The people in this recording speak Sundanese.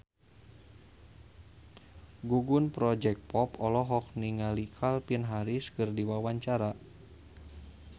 Gugum Project Pop olohok ningali Calvin Harris keur diwawancara